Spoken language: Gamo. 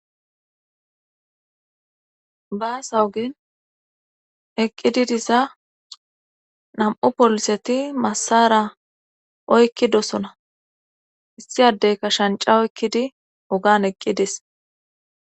baasawogen eqqidi diza nam7u poliseti massara oykkidosona issi addey ka shanca oykkidi ogan eqqidis